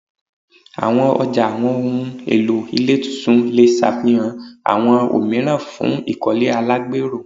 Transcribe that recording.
Awọn ọja awọn ohun elo ile tuntun le ṣafihan awọn omiiran fun ikole alagbero